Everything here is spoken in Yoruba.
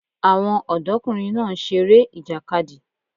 Àwọn ọ̀dọ́kùnrin náà ń seré ìjàkadì